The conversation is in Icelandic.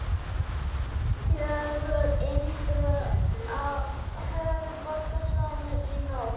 Fjögur innbrot á höfuðborgarsvæðinu í nótt